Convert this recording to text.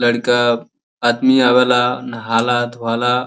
लड़िका आदमी आवेला नहाला धोवाला।